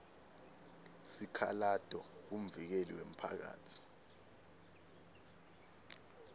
sikhalato kumvikeli wemphakatsi